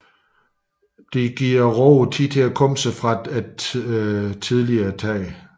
Det giver roeren tid til at komme sig fra det tidligere tag